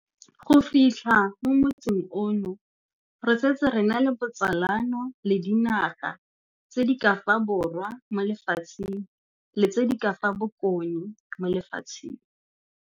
Go fitlha mo motsing ono, re setse re na le botsalano le dinaga tse di ka fa Borwa mo Lefatsheng le tse di ka fa Bokone mo Lefatsheng.